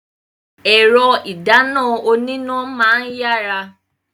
Ẹ̀rọ ìdáná oníná máa ń yára.